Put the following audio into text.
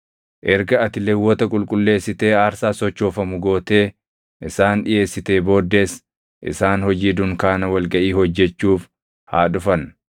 “Erga ati Lewwota qulqulleessitee aarsaa sochoofamu gootee isaan dhiʼeessitee booddees isaan hojii dunkaana wal gaʼii hojjechuuf haa dhufan.